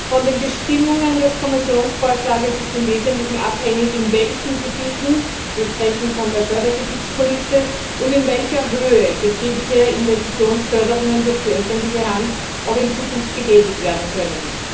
Von den Bestimmungen des Kommissionsvorschlages ist im Wesentlichen abhängig, in welchen Gebieten wir sprechen von der Fördergebietskulisse und in welcher Höhe betriebliche Investitionsförderungen durch die öffentliche Hand auch in Zukunft getätigt werden können.